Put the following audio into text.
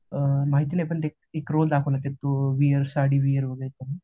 माहित नाही पण ते एक रोल दाखवला